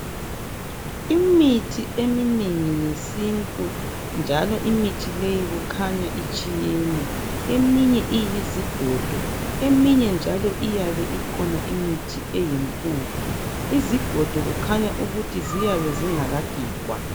Imithi eminengi yesintu, njalo imithi leyi kukhanya itshiyene eminye iyizigodo eminye njalo iyabe ikhona imithi eyimpuphu. Izigodo kukhanya ukuthi ziyabe zingakagigwa.